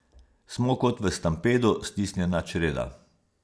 Smo kot v stampedu stisnjena čreda.